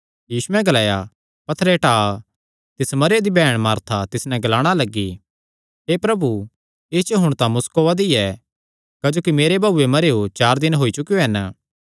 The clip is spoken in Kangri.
यीशुयैं ग्लाया पत्थरे टाआ तिस मरेयो दी बैहण मार्था तिस नैं ग्लाणा लग्गी हे प्रभु इस च हुण तां मुस्क ओआ दी ऐ क्जोकि मेरे भाऊये मरेयो चार दिन होई चुकेयो हन